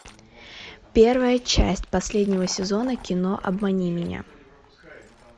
первая часть последнего сезона кино обмани меня